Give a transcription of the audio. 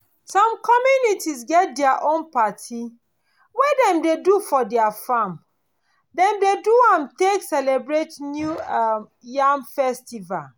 some community get their own party wey dem do for their farm. dem dey do am take celebrate new um yam festival.